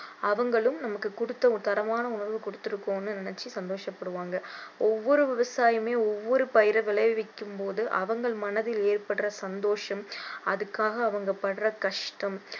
அவங்களும் நமக்கு குடுத்த தரமான உணவு கொடுத்து இருக்கோம்னு நினைச்சி சந்தோஷப்படுவாங்க ஒவ்வொரு விவசாயுமே ஒவ்வொரு பயிரை விளைவிக்கும் போது அவங்க மனதில் ஏற்படுற சந்தோஷம் அதுக்காக அவங்க படுற கஷ்டம்